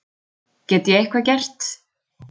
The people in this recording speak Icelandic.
Get ég eitthvað gert?